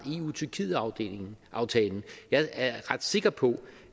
eu tyrkiet aftalen aftalen jeg er ret sikker på